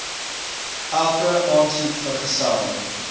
elke aansoek vergesel